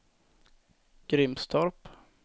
Grimstorp